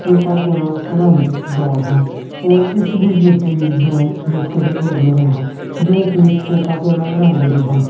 Coca Cola ਰੰਗ ਦਾ ਹੈ ਔਰ ਇਸਦੇ ਵਿੱਚ ਹੀ ਦੋ ਬਿਸਕੁਟ ਲੱਗੇ ਹੋਏ ਹਨ ਜੋ ਕਿ ਕੋੱਕਾ ਕੋਲਾ ਰੰਗ ਦੇ ਹਨ।